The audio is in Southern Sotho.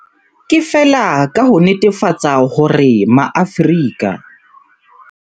Ke feela ka ho netefatsa hore Maafrika.